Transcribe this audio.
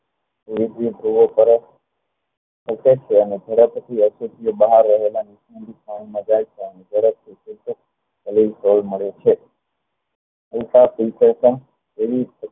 વિદ્યુત ગુઓ ફરે અસર થયા અને થોડા પછી બહાર રહેલા તરલીલમય સ્વરૂપ મળે છે